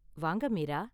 வாங்க, மீரா.